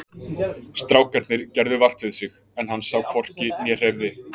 Strákarnir gerðu vart við sig en hann sá hvorki né heyrði.